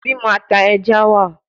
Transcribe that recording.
Bimo ata eja wa